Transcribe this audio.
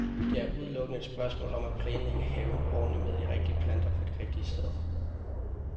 Det er udelukkende et spørgsmål om at planlægge haven ordentligt med de rigtige planter på de rigtige steder.